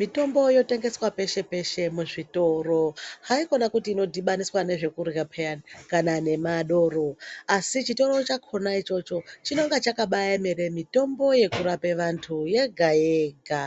Mitombo yotengeswa peshe peshe muzvitoro haikona kuti inodhibainiswa nezvekurya piyani kana nemadoro asi chitoro chakona ichocho chinenge chakabaemera mitombo yekurapa vantu yega yega